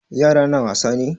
Yara na wasa ne?